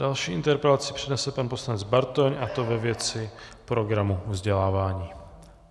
Další interpelaci přednese pan poslanec Bartoň, a to ve věci programu vzdělávání.